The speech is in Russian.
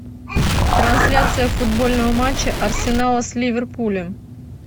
трансляция футбольного матча арсенала с ливерпулем